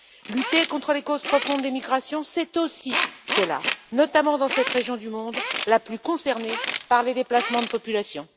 Lutter contre les causes profondes des migrations, c'est aussi cela, notamment dans cette région du monde la plus concernée par les déplacements de populations.